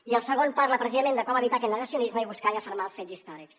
i el segon parla precisament de com evitar aquest negacionisme i buscar i afermar els fets històrics